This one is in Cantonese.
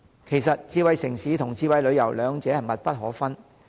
其實智慧城市和智慧旅遊兩者的關係密不可分。